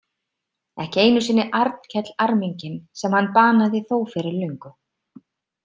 Ekki einu sinni Arnkell arminginn sem hann banaði þó fyrir löngu.